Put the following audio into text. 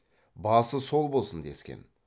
басы сол болсын дескен